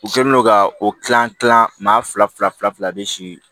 U kɛlen don ka o kilan kilan maa fila fila fila de sii